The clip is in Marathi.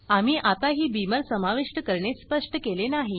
आम्ही आताही बीमर समाविष्ट करणे सप्ष्ट केले नाही